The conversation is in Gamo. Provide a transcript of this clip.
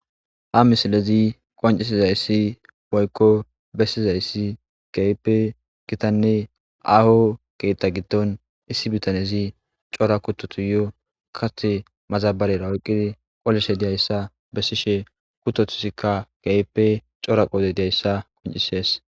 Ha misilezi qoncisizaysi woyko besizaysi keehipe gita woyko aaho keetha giddon issi bitanezi cora kuttotas kaththi madabarara oykidi qolishe dizaysa bessishe kuttotasika keehippe cora qooday dizaysa erissees.